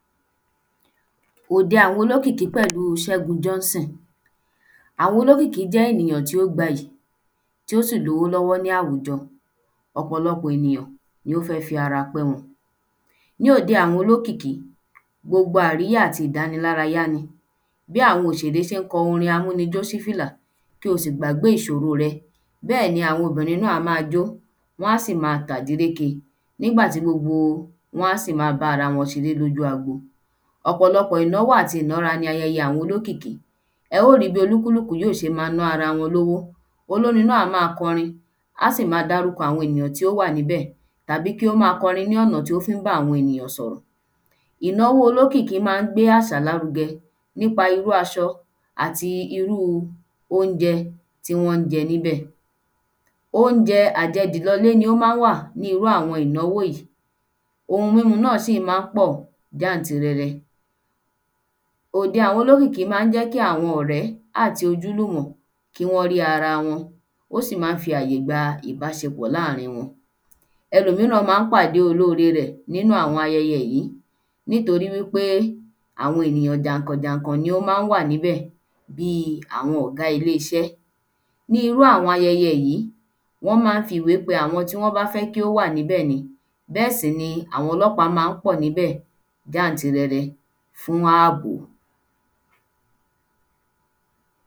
Òde àwọn olókìkí pẹ̀lúu Ṣégun Johnson àwọn olókìkí jẹ́ ènìyàn tí ó gbayì tí ó sì lówó lọ́wọ́ ni àwùjọ ọ̀pọ̀lọpọ̀ ènìyàn ni ó fẹ́ fi ara pẹ́ wọn ní òde àwọn olókìkí gbogbo àríyá àti ìdánilárayá ni bí àwọn òsèré ṣé ń kọ orin amúnijó ṣi fìla kí o sì gbàgbé ìṣòro rẹ bẹ́ẹ̀ ní àwọn obìnrin náà á ma jó wọ́n á sì ma tàdíréke nígbà tí gbogbo wọ́n á sì ma bá ara wọn ṣeré lójú agbo ọ̀pọ̀lọpọ̀ ìnáwó àti ìnára ni ayẹyẹ àwọn olókìkí ẹ ó ri bí olúkúlúkù yóo ṣe ma ná ara wọn lówó olórin náà á má korin á sì ma dárúkọ àwọn ènìyàn tí ó wà níbẹ̀ tàbí kí ó ma kọrin ní ọ̀nà tí ó fí ń bá àwọn ènìyàn sọ̀rọ̀ ìnáwó olókìkí má ń gbé àṣà láruge nípa irú aṣọ àti irúu óunjẹ tí wọ́n jẹ níbẹ̀ óunjẹ àjẹ dì lolé ni ó má ń wà ní irú àwọn ìnáwó yìí ohun múmu náà sì má ń pọ̀ gántìrẹrẹ òde àwọn olókìkí má ń jẹ́ kí àwọn ọ̀rẹ́ áti ojúlúmọ̀ kí wọ́n rí ara wọn ó sì má ń fi àyè gba ìbáṣepọ̀ láàrin wọn elòmíràn má ń pàde olóore rẹ̀ nínú àwọn ayẹyẹ yìí nítorí wí pé àwọn ènìyàn jànkàn jànkàn ni ó má ń wà níbẹ̀ bíi àwọn ọgá ilé iṣẹ́ ní irú àwọn ayẹyẹ yìí wọ́n má ń fi ìwe pe àwọn tí wọ́n bá fẹ́ kí ó wà níbẹ̀ ni bẹ́ẹ̀ sì ní àwọn ọlọ́pàá má ń pọ̀ níbẹ̀ gántìrẹrẹ fún ábò